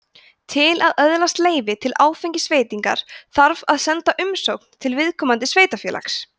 til að öðlast leyfi til áfengisveitinga þarf að senda umsókn til viðkomandi sveitarfélags